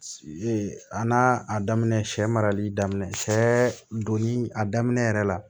a n'a a daminɛ sɛ marali daminɛ sɛ donni a daminɛ yɛrɛ la